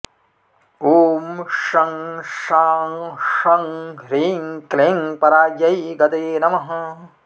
ॐ शं शां षं ह्रीं क्लीं परायै गतये नमः